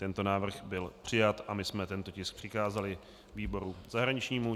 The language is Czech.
Tento návrh byl přijat a my jsme tento tisk přikázali výboru zahraničnímu.